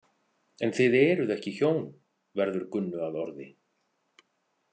En þið eruð ekki hjón, verður Gunnu að orði.